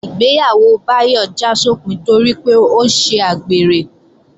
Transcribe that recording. Ìgbéyàwó Báyọ̀ já sópin torí pé ó ṣe àgbèrè